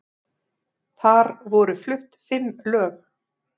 Þar voru flutt fimm lög